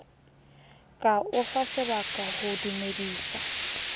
ka o fasebaka ho dumedisa